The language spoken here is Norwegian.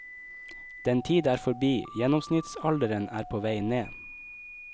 Den tid er forbi, gjennomsnittsalderen er på vei ned.